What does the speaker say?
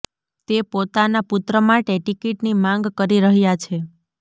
તે પોતાના પુત્ર માટે ટિકીટની માંગ કરી રહ્યા છે